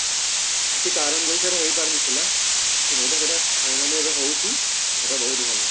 କିଛି କାରଣ ବଶତଃ ହେଇପାରୁ ନଥିଲା ସେଟା ଗୋଟେ ମାନେ ଏବେ ହଉଛି ସେଟା ବହୁତ ଭଲ